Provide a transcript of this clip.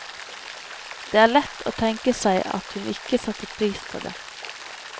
Det er lett å tenke seg at hun ikke satte pris på det.